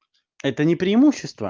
это не преимущество